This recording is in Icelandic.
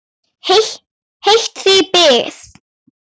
Heitt þig bið!